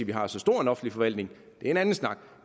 vi har så stor en offentlig forvaltning det er en anden snak